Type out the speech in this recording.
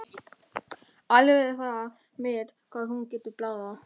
Alveg er það met hvað hún getur blaðrað!